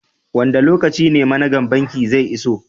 wanda lokaci ne managan banki zai iso?